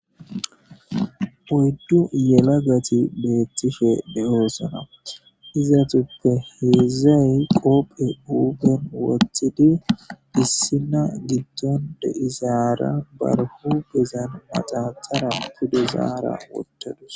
Oydu yelagati betishe de'osona izatupe hezday qophe huphen wotid issina gidon de'izara bar huphezan maxaxara wotudara utadus.